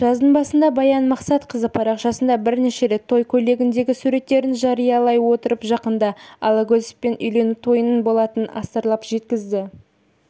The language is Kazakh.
жаздың басында баян мақсатқызы парақшасында бірнеше рет той көйлегіндегі суреттерін жариялай отырып жақында алагөзовпен үйлену тойының болатынын астарлап жеткізді